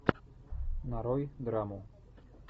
нарой драму